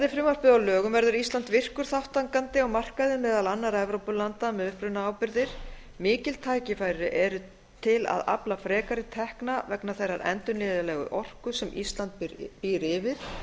frumvarpið að lögum verður ísland virkur þátttakandi á markaði meðal annarra evrópulanda með upprunaábyrgðir mikil tækifæri eru til að afla frekari tekna vegna þeirrar endurnýjanlegu orku sem ísland býr yfir